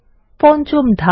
পঞ্চম ধাপ